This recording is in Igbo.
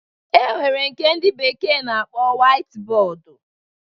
E nwere nke ndị bekee na-akpọ wait bọọdu